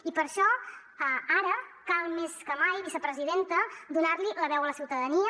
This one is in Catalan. i per això ara cal més que mai vicepresidenta donar li la veu a la ciutadania